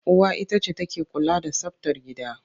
Uwa ita ce take kula da tsabtar gida.